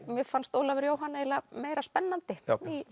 mér fannst Ólafur Jóhann eiginlega meira spennandi já